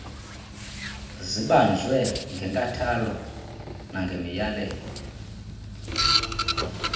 zibanjwe ngenkathalo nangemiyalelo